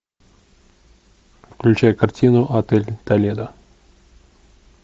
включай картину отель толедо